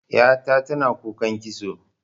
Ƴa ta tana kukan kitso.